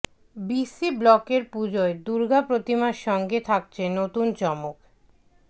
BC ব্লকের পুজোয় দুর্গা প্রতিমার সঙ্গে থাকছে নতুন চমক